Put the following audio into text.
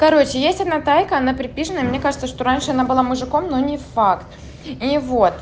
короче есть одна тайка она припизженая и мне кажется что раньше она была мужиком но не факт и вот